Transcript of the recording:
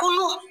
Kunun